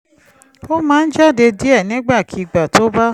ó máa ń jáde díẹ̀ nígbàkigbà tó bá